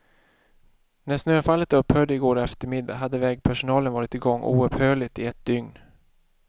När snöfallet upphörde i går eftermiddag hade vägpersonalen varit igång oupphörligt i ett dygn.